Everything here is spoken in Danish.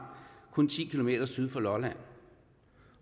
kun ti km syd for lolland